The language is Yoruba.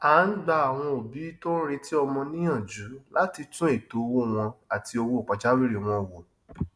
a ń gba àwọn òbí tó ń retí ọmọ níyànjú láti tún ètò owó wọn àti owó pajawìrì wọn wo